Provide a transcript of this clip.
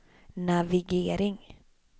navigering